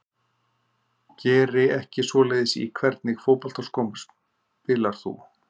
Geri ekki svoleiðis Í hvernig fótboltaskóm spilar þú?